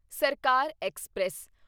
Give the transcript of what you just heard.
ਸਰਕਾਰ ਐਕਸਪ੍ਰੈਸ